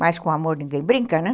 Mas com amor ninguém brinca, né?